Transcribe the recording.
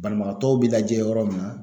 Banabagatɔw bɛ lajɛ yɔrɔ min na